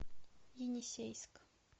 енисейск